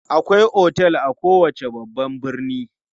Akwai otel a kowace babban birni.